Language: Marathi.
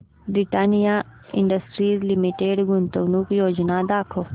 ब्रिटानिया इंडस्ट्रीज लिमिटेड गुंतवणूक योजना दाखव